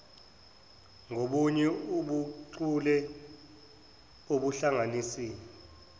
ngobunye ubuchule obuhlanganisa